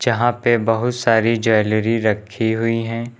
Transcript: यहां पे बहुत सारी ज्वैलरी रखी हुई हैं।